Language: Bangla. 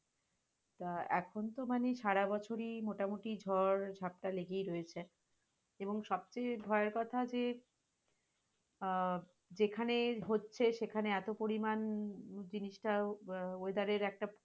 তা এখন তো মানে সারাবছরই মোটামুটি ঝড়-ঝাপ্টা লেগেই রয়েছে, এবং সবচেয়ে ভয়ের কথা যে আহ যেখানে হচ্ছে সেখানে এত পরিমান জিনিসটা আহ weather এর একটা